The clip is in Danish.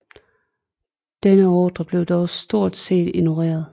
Denne ordrer blev dog stort set ignoreret